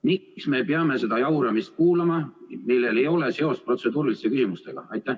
Miks me peame kuulama seda jauramist, millel ei ole seost protseduuriliste küsimustega?